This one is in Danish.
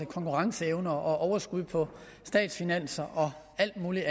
konkurrenceevne overskud på statsfinanserne og alle mulige